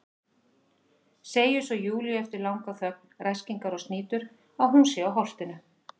Segir svo Júlíu eftir langa þögn, ræskingar og snýtur, að hún sé á Holtinu.